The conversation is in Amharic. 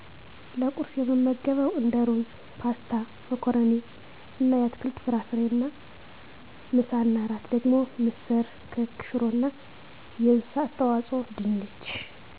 ለቁርስ የምመገበዉ እንደ ሩዝ ፓስታ መኮረኒ እና አትክልት ፍራፍሬ እና ምሳ እና እራት ደግሞ ምስር ክክ ሽሮ እና የእንስሳት ተዋፅኦ ድንች